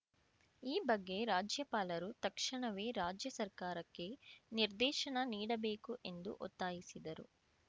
ಈ ಬಗ್ಗೆ ರಾಜ್ಯಪಾಲರು ತಕ್ಷಣವೇ ರಾಜ್ಯ ಸರ್ಕಾರಕ್ಕೆ ನಿರ್ದೇಶನ ನೀಡಬೇಕು ಎಂದು ಒತ್ತಾಯಿಸಿದರು